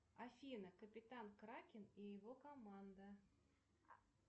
афина капитан кракен и его команда